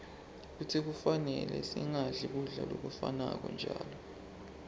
futsi kufanele singadli kudla lokufanako njalo